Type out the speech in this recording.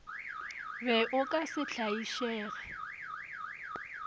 be o ka se tlaišege